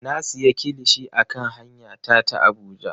Na siya kilishi a kan hanya ta ta Abuja.